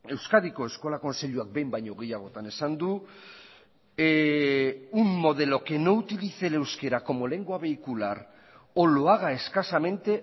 euskadiko eskola kontseiluak behin baino gehiagotan esan du un modelo que no utilice el euskera como lengua vehicular o lo haga escasamente